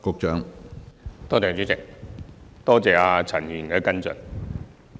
主席，多謝陳議員的補充質詢。